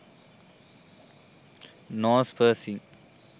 nose piercing